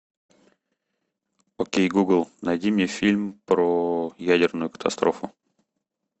окей гугл найди мне фильм про ядерную катастрофу